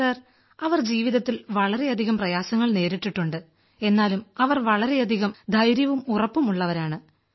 sir അവർ ജീവിതത്തിൽ വളരെയധികം പ്രയാസങ്ങൾ നേരിട്ടിട്ടുണ്ട് എന്നാലും അവർ വളരെയധികം ധൈര്യവും ഉറപ്പും ഉള്ളവളാണ്